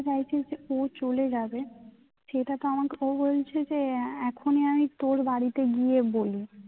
ও চলে যাবে সেটা তো আমাকে ও বলছে যে এখনই আমি তোর বাড়িতে গিয়ে বলি